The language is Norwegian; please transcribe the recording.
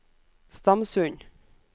Stamsund